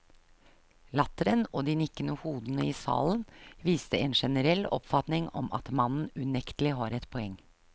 Latteren og de nikkende hodene i salen viste en generell oppfatning om at mannen unektelig har et poeng.